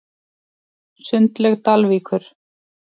Sundlaug Dalvíkur